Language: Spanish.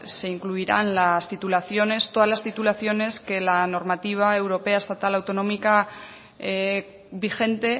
se incluirán todas las titulaciones todas las titulaciones que la normativa europea estatal autonómica vigente